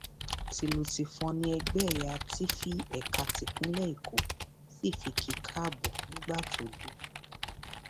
tìlù tìfọn ni ẹgbẹ ẹyà tífì ẹka tipinlẹ èkó sì fi kí i káàbọ nígbà tó dé